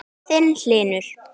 Þinn, Hlynur.